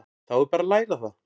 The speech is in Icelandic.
Þá er bara að læra það!